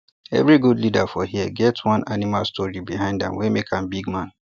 every good leader for here get one animal story behind am wey make am bigman